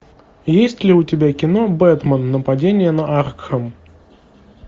есть ли у тебя кино бэтмен нападение на аркхэм